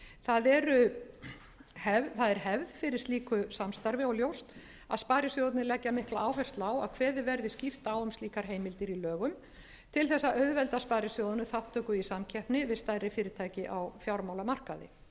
það er hefð fyrir slíku samstarfi og ljóst að sparisjóðirnir leggja mikla áherslu á að kveðið verði skýrt á um slíkar heimildir í lögum til að auðvelda sparisjóðunum þátttöku í samkeppni við stærri fyrirtæki á fjármálamarkaði